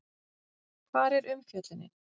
Hvar er umfjöllunin?